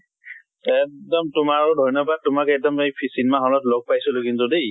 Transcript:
এক্দম। তোমাৰো ধৈন্য়বাদ, তোমাক এক্দম সেই ফি cinema hall ত লগ পাইছিলো কিন্তু দেই।